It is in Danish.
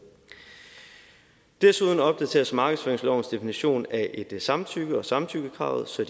desuden opdateres markedsføringslovens definition af et samtykke og samtykkekravet så